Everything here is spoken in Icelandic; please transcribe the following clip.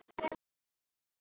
Ég kveð þig, elsku mamma.